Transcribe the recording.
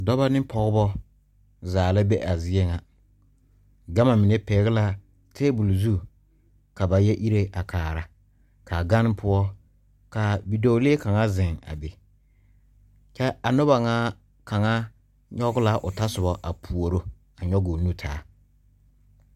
Dɔbɔ ne pɔɔbɔ zaala be a zie ŋa gama mine pɛgle la tabol zu ka ba yɛ ire a kaara kaa gane poɔ ka bidɔɔlee kaŋa zeŋ kyɛ a nobɔ ŋa kaŋa nyoge la otɔsoba a puoro nyoge o nu taa.